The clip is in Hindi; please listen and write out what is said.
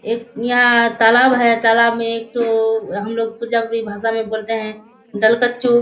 एक यहाँ तालाब है तालाब में एक ठो हम लोग सुजवारी भासा में बोलते है गालकछु --